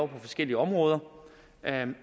på forskellige områder